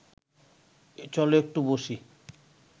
চল একটু বসি